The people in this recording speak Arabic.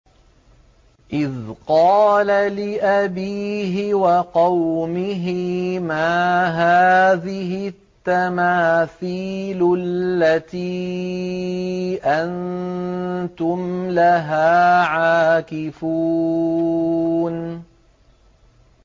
إِذْ قَالَ لِأَبِيهِ وَقَوْمِهِ مَا هَٰذِهِ التَّمَاثِيلُ الَّتِي أَنتُمْ لَهَا عَاكِفُونَ